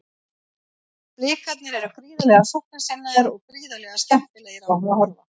Blikarnir eru gríðarlega sóknarsinnaðir og gríðarlega skemmtilegir á að horfa.